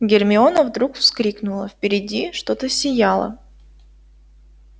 гермиона вдруг вскрикнула впереди что-то сияло